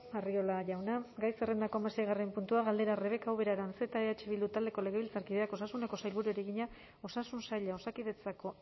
arriola jauna gai zerrendako hamaseigarren gaia galdera rebeka ubera aranzeta eh bildu taldeko legebiltzarkideak osasuneko sailburuari egina osasun saila osakidetzako